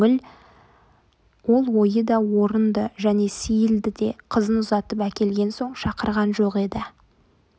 ол ойы да орынды және сейілді де қызын ұзатып әкелген соң шақырған жоқ еді